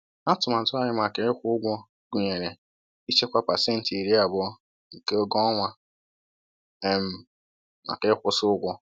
Atụmatụ anyị maka ịkwụ ụgwọ gụnyere ịchekwa pasentị iri abụọ nke ego ọnwa um maka ịkwụsị ụgwọ.